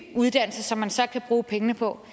uddannelse som man så kan bruge pengene på